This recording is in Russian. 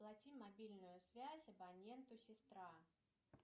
оплати мобильную связь абоненту сестра